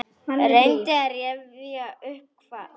Reyndi að rifja upp hvað.